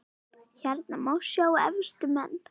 Hérna má sjá efstu menn